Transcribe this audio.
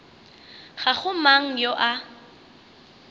ga go mang yo a